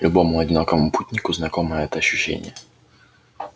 любому одинокому путнику знакомо это ощущение